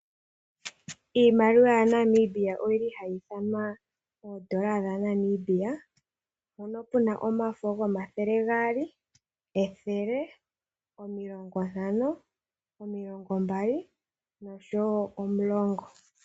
Iimaliwa yaNamibia oyi li hayi ithanwa oondola dhaNamibia, mpono pu na omafo gomathele gaali, ethele, omilongo ntano, omilongo mbali nosho wo omulongo.